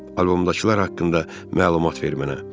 Albomdakılar haqqında məlumat ver mənə.